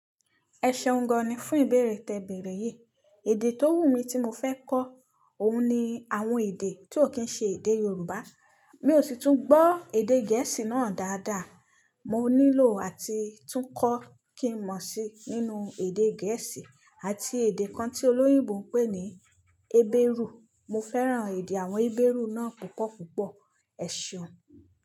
Ẹ ṣeun gan ni fún ìbéèrè tẹ béèrè yí, èdè tó wù mí tí mo fẹ́ kọ́ òhun ni àwọn èdè tí ó kí n ṣe èdè Yorùbá, mi ò sì tún gbọ́ èdè Gẹ̀ẹ́sì náà dáadáa, mo nílò àti tún kọ́ kín mọ̀ sí nínú èdè Gẹ̀ẹ́sì àti èdè kan tí olóyìnbó ń pè ní Hébérù, mo fẹ́ràn èdè àwọn Hébérù náà púpọ̀ púpọ̀, ẹṣeun.